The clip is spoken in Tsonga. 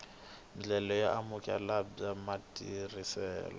ndlela yo amukeleka bya matirhiselo